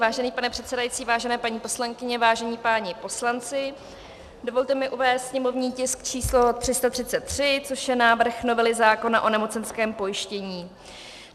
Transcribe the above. Vážený pane předsedající, vážené paní poslankyně, vážení páni poslanci, dovolte mi uvést sněmovní tisk č. 333, což je návrh novely zákona o nemocenském pojištění.